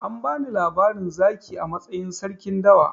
An bani labarin zaki a matsayin sarkin dawa.